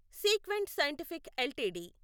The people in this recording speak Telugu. sequent scientific LTD